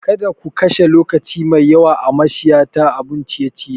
Kada ku kashe lokaci mai yawa a mashaya ta abun ciye-ciye.